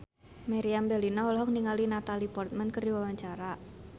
Meriam Bellina olohok ningali Natalie Portman keur diwawancara